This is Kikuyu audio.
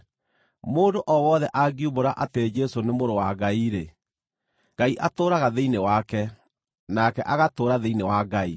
Mũndũ o wothe angiumbũra atĩ Jesũ nĩ Mũrũ wa Ngai-rĩ, Ngai atũũraga thĩinĩ wake, nake agatũũra thĩinĩ wa Ngai.